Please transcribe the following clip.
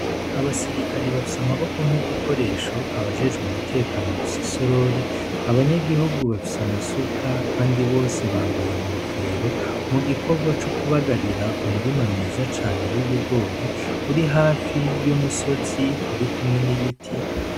Abasirikare bafise amaboko nk'igikoresho abajejwe umutekano bafise i sorori abanyagihugu bafise amasuka, kandi bose bambaye nkofero mu gikorwa c'ukubagarira umurima mwiza cane w'ibigori uri hafi y'umusozi uri kumwe n'ibiti.